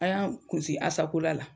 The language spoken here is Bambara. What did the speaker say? An y'an kun sin Asakola la.